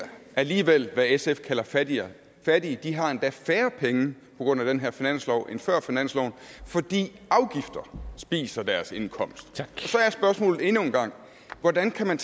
alligevel hvad sf kalder fattige fattige de har endda færre penge på grund af den her finanslov end før finansloven fordi afgifter spiser deres indkomst så er spørgsmålet endnu en gang hvordan kan man